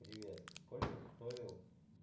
привет сколько стоил